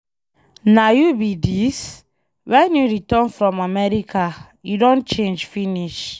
Na you be dis? Wen you return from America? You don change finish.